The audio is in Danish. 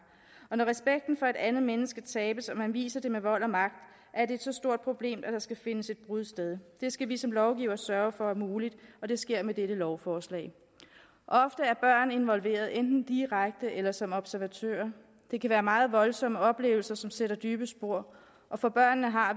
og når respekten for et andet menneske tabes og man viser det med vold og magt er det så stort et problem at der skal finde et brud sted det skal vi som lovgivere sørge for er muligt og det sker med dette lovforslag ofte er børn involveret enten direkte eller som observatører det kan være meget voldsomme oplevelser som sætter dybe spor og for børnene har